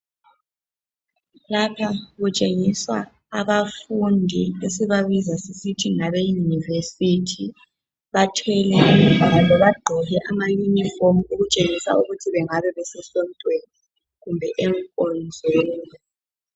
Lapha okutshengisa abafundi abaseyunivesithi bathwele kumbe bagqoke amayunifomu okutshengisa ukuthi bengabe besesontweni kumbe enkonzweni